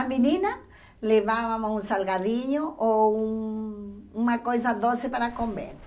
A menina levava um salgadinho ou uma coisa doce para comer.